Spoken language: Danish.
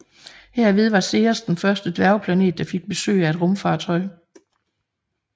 Herved var Ceres den første dværgplanet der fik besøg af et rumfartøj